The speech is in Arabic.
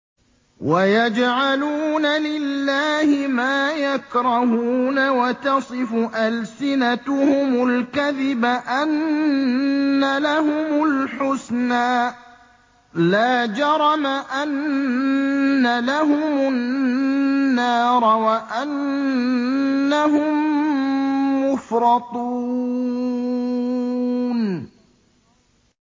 وَيَجْعَلُونَ لِلَّهِ مَا يَكْرَهُونَ وَتَصِفُ أَلْسِنَتُهُمُ الْكَذِبَ أَنَّ لَهُمُ الْحُسْنَىٰ ۖ لَا جَرَمَ أَنَّ لَهُمُ النَّارَ وَأَنَّهُم مُّفْرَطُونَ